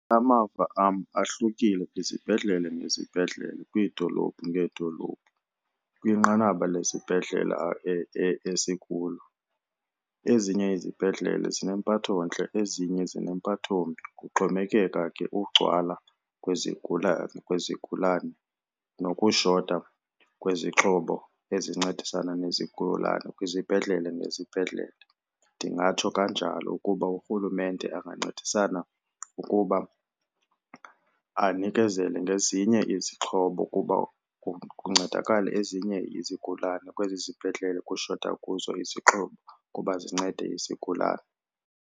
Amava am ahlukile kwizibhedlele ngezibhedlele kwiidolophu ngeedolophu. Kwinqanaba lesibhedlele esikulo ezinye izibhedlele zinempatho ntle ezinye zinempatho mbi kuxhomekeka ke ugcwala kwezigulana, kwezigulane nokushota kwezixhobo ezincedisana nezigulane kwizibhedlele nezibhedlele. Ndingatsho kanjalo ukuba uRhulumente angancedisana ukuba anikezele ngezinye izixhobo kuba kuncedakale ezinye izigulane kwezi zibhedlele kushota kuzo izixhobo ukuba zincede izigulane.